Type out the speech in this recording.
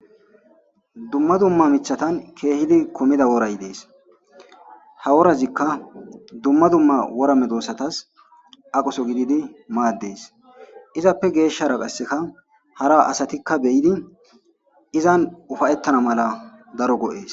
Duma duma mithatan kehidi kuda woray de'es haworazika duma duma wora medosatas aqoso gidi mades izape geshara qasika hara asatika be'idi izani upayetana mala daro go'oes